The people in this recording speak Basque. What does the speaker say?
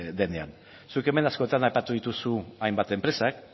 denean zuek hemen askotan aipatu dituzu hainbat enpresa